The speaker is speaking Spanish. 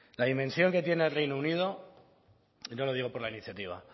la dimensión que tiene el reino unido y no lo digo por la iniciativa